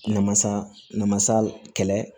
Namasa namasa kɛlɛ